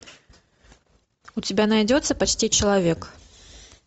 у тебя найдется почти человек